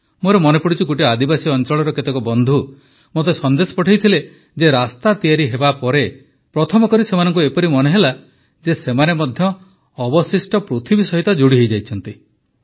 ମୋର ମନେପଡ଼ୁଛି ଗୋଟିଏ ଆଦିବାସୀ ଅଞ୍ଚଳର କେତେକ ବନ୍ଧୁ ମୋତେ ସନ୍ଦେଶ ପଠାଇଥିଲେ ଯେ ରାସ୍ତା ତିଆରି ହେବାପରେ ପ୍ରଥମ କରି ସେମାନଙ୍କୁ ଏପରି ମନେହେଲା ଯେ ସେମାନେ ମଧ୍ୟ ଅବଶିଷ୍ଟ ପୃଥିବୀ ସହିତ ଯୋଡ଼ି ହୋଇଯାଇଛନ୍ତି